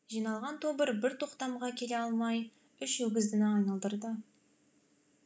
жиналған тобыр бір тоқтамға келе алмай үш өгіздіні айналдырды